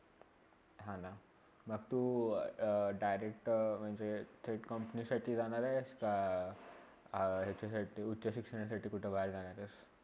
हा ना, मंग तु direct म्हणजे straight company साठी जाणार आहेस का? अ या उच्चय शिक्षणासाठी कुठे बाहेर जाणार आहेस?